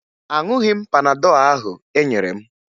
Aṅụghị m panadọ ahụ e nyere m